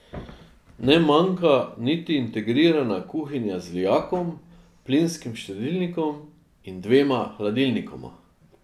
Ne manjka niti integrirana kuhinja z lijakom, plinskim štedilnikom in dvema hladilnikoma.